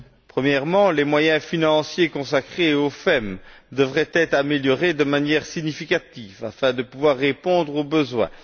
Premièrement, les moyens financiers consacrés au FEM devraient être renforcés de manière significative, afin de pouvoir répondre aux besoins.